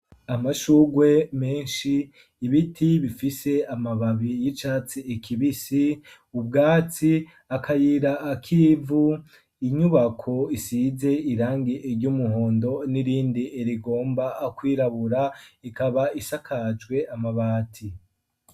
Amashurwe menshi, ibiti, bifise amababi y'icatsi kibisi, ubwatsi, akayira k'ivu; inyubako isize, irangi ry'umuhondo, n'irindi rigomba kwirabura, ikaba isakajwe amabati.